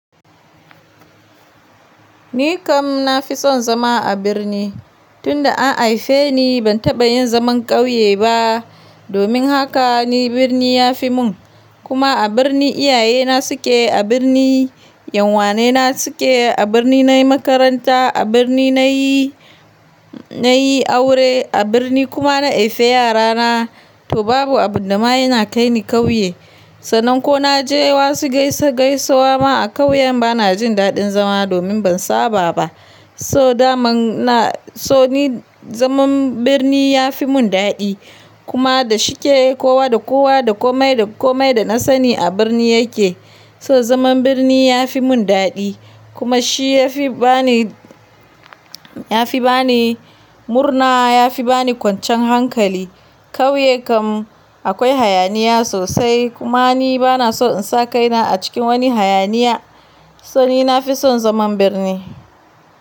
Ni kam na fi son zama a birni. Tun da an haife ni ban taɓa yin zaman ƙauye ba. Domin haka ni birni ya fi mun. Kuma a birni iyayena su ke, a birni yan wanena su ke, a birni nayi makaranta, a birni nayi, nayi aure, a birni kuma na haifi yarana. To babu abin da ma yana kai ni ƙauye. Sannan ko na je wasu gaisa gaisawa ma a ƙauyen bana jin daɗin zama domin ban saba ba. So daman na, so ni zaman birni ya fi mun daɗi. Kuma da shike kowa da kowa da komai da komai da na sani a birni ya ke. So zaman birni ya fi mun daɗi. Kuma shi ya fi bani, ya fi bani murna, ya fi bani kwancan hankali. Ƙauye kam akwai hayaniya sosai. Kuma ni bana so in sa kaina a cikin wani hayaniya. So ni na fi son zaman birni.